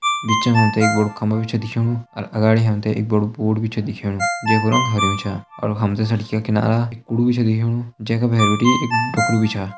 बिच मा हम तें एक बड़ु खम्बा छ दिखेणु अर अगाड़ी हम तें ऐक बड़ु बोर्ड भी छ दिखेणु जे कु रंग हरयूं छा अर हम तें सड़कि का किनारा एक कुड़ु भी छ दिखेणु जे का भैर बिटि एक डोखरू भी छा।